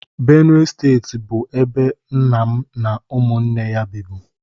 Benue steeti bụ ebe nna m na ụmụnne ya bibu.